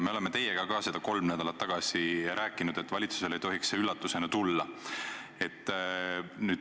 Me oleme teiega sellest kolm nädalat tagasi rääkinud, valitsusele ei tohiks see üllatusena tulla.